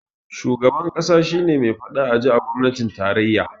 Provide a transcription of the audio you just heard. Shugaban ƙasa shi ne me faɗa a ji a gwamnatin tarayya